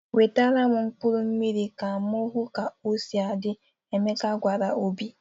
"Wetara m mkpụrụ mmiri ka m hụ ka o si adị!" Emeka gwara Obi.